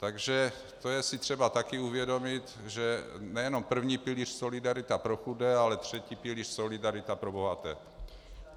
Takže to je si třeba taky uvědomit, že nejenom první pilíř solidarita pro chudé, ale třetí pilíř solidarita pro bohaté.